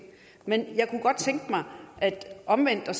men jeg kunne godt tænke mig omvendt at